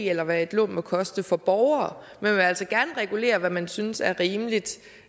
eller hvad et lån må koste for borgere man vil altså gerne regulere hvad man synes er rimeligt